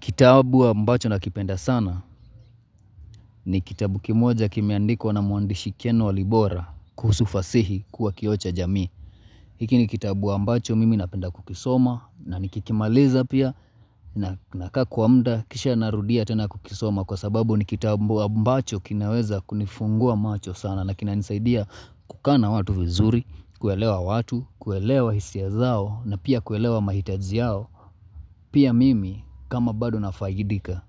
Kitabu ambacho nakipenda sana ni kitabu kimoja kimeandikwa na mwandishi ken walibora kuhusu fasihi kuwa kioo cha jamii. Hiki ni kitabu wa ambacho mimi napenda kukisoma na nikikimaliza pia nakaa kwa muda kisha narudia tena kukisoma kwa sababu ni kitabu ambacho kinaweza kunifungua macho sana na kinanisaidia kukaa na watu vizuri, kuelewa watu, kuelewa hisia zao na pia kuelewa mahitaji yao. Pia mimi kama bado nafaidika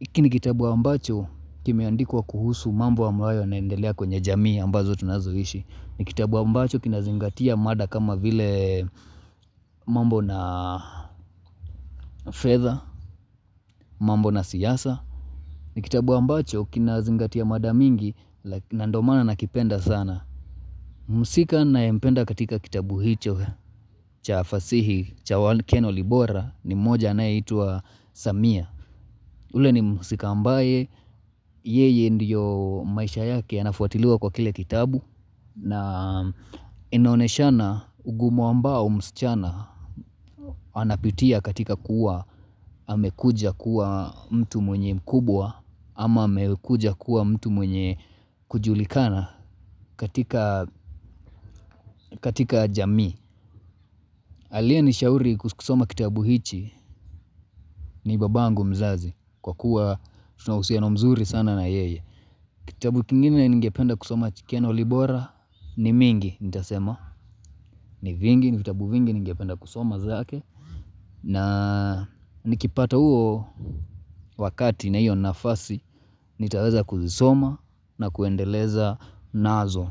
Iakini ni kitabu ambacho kimeandikwa kuhusu mambo ambayo yanaendelea kwenye jamii ambazo tunazoishi ni kitabu ambacho kinazingatia mada kama vile mambo na fedha, mambo na siasa ni kitabu ambacho kinazingatia mada mingi na ndio maana nakipenda sana Mhusika ninayempenda katika kitabu hicho cha fasihi cha ken walibora ni mmoja anayeitwa Samia ule ni mhusika ambaye, yeye ndiyo maisha yake yanafuatiliwa kwa kile kitabu na inonyeshana ugumu ambao msichana anapitia katika kuwa amekuja kuwa mtu mwenye mkubwa ama amekuja kuwa mtu mwenye kujulikana katika jamii. Aliyenishauri kusoma kitabu hichi ni babangu mzazi kwa kuwa tunauhusiano mzuri sana na yeye. Kitabu kingine ningependa kusoma cha ken walibora ni mingi nitasema. Ni vingi ni vitabu vingi ningependa kusoma zake na nikipata huo wakati na hiyo nafasi nitaweza kuzisoma na kuendeleza nazo.